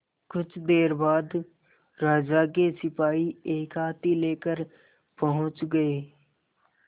कुछ देर बाद राजा के सिपाही एक हाथी लेकर पहुंच गए